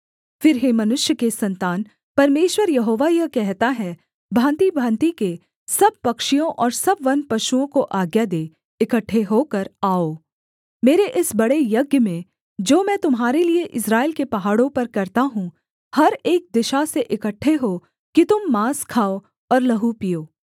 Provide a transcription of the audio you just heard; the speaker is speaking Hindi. फिर हे मनुष्य के सन्तान परमेश्वर यहोवा यह कहता है भाँतिभाँति के सब पक्षियों और सब वनपशुओं को आज्ञा दे इकट्ठे होकर आओ मेरे इस बड़े यज्ञ में जो मैं तुम्हारे लिये इस्राएल के पहाड़ों पर करता हूँ हर एक दिशा से इकट्ठे हो कि तुम माँस खाओ और लहू पीओ